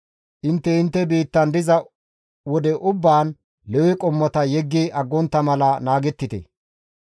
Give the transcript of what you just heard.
Intte intte biittan diza wode ubbaan Lewe qommota yeggi aggontta mala naagettite.